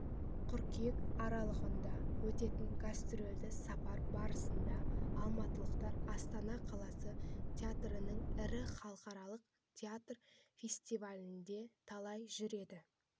қыркүйек аралығында өтетін гастрольдік сапар барысында алматылықтар астана қаласы театрларының ірі халықаралық театр фестивальдерінде талай жүлде